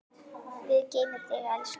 Guð geymi þig, elsku afi.